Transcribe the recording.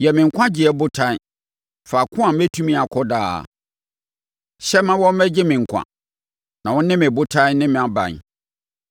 Yɛ me nkwagyeɛ botan faako a mɛtumi akɔ daa; hyɛ ma wɔmmɛgye me nkwa, na wo ne me botan ne mʼaban.